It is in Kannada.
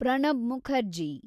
ಪ್ರಣಬ್ ಮುಖರ್ಜಿ